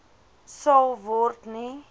sal word nie